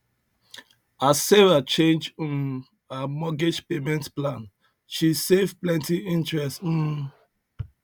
as sarah change um her mortgage payment plan she save plenty interest um